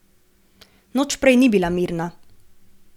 Noč prej ni bila mirna.